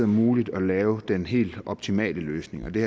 muligt at lave den helt optimale løsning det